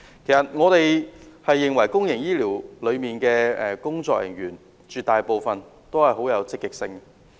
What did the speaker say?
其實，我們認為公營醫療裏的工作人員絕大部分很積極。